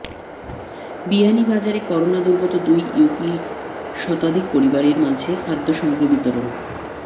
বিয়ানীবাজারে করোনা দূর্গত দুই ইউপির শতাধিক পরিবারের মাঝে খাদ্যসামগ্রী বিতরণ